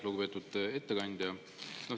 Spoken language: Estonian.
Lugupeetud ettekandja!